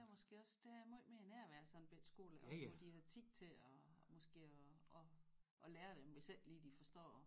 Der er måske også der er måj mere nærvær sådan en bette skole dér også hvor de har tid til at måske at at at lære dem hvis ikke lige de forstår